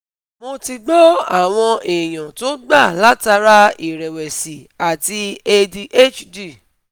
Mo ti gbo awon eyan to gba latara irewesi ati adhd